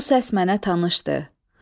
Bu səs mənə tanışdı.